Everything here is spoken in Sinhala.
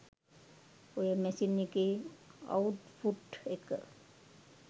ඔය මැෂින් එකේ අවුට්පුට් එක